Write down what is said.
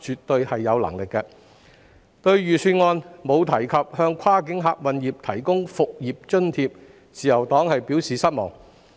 對於預算案沒有提及向跨境客運業提供復業津貼，自由黨表示失望。